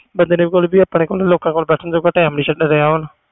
ਬੰਦੇ ਨੇ ਆਪਣੇ ਕੋਲ ਜਾ ਕਿਸੇ ਕੋਲ ਬੈਠਣ ਦਾ time ਨਹੀਂ ਹੈ